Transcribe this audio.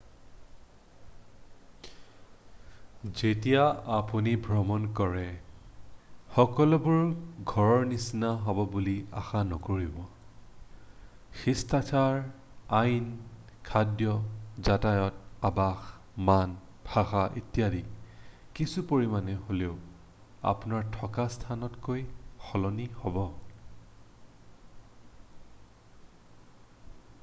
"যেতিয়া আপুনি ভ্ৰমণ কৰে সকলোবোৰ "ঘৰৰ নিচিনা" হব বুলি আশা নকৰিব । শিষ্টাচাৰ আইন খাদ্য যাতায়ত আবাস মান ভাষা ইত্যাদি কিছু পৰিমাণে হ'লেও আপোনাৰ থকা স্থানতকৈ সলনি হ'ব।""